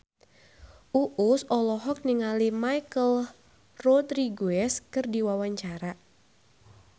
Uus olohok ningali Michelle Rodriguez keur diwawancara